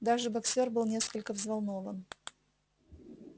даже боксёр был несколько взволнован